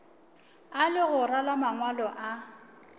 a legora la mangwalo a